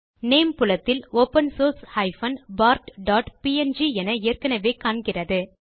name புலத்தில் open source bartpng என ஏற்கெனெவே காண்கிறது